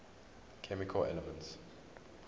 chemical elements